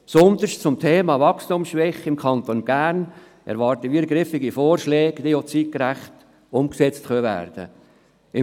Besonders zum Thema «Wachstumsschwäche im Kanton Bern» erwarten wir griffige Vorschläge, die zeitgerecht umgesetzt werden können.